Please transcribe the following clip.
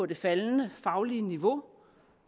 det faldende faglige niveau